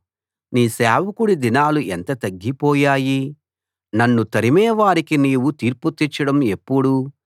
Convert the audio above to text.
నీ సేవకుడి దినాలు ఎంత తగ్గిపోయాయి నన్ను తరిమే వారికి నీవు తీర్పు తీర్చడం ఎప్పుడు